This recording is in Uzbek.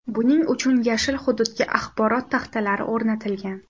Buning uchun yashil hududga axborot taxtalari o‘rnatilgan.